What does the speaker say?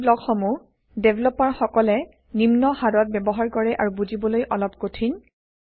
এই ব্লক সমূহ ডেভেলপাৰ সকলে নিম্ন হাৰত ব্যৱহাৰ কৰে আৰু বুজিবলৈ অলপ কঠিন